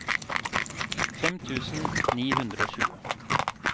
fem tusen ni hundre og tjue